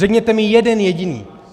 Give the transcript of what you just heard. Řekněte mi jeden jediný.